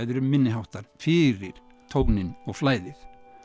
eru minniháttar fyrir tóninn og flæðið